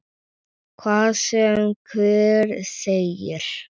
Hvað sem hver segir.